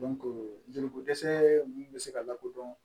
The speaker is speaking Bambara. joli ko dɛsɛ ninnu bɛ se ka lakodɔn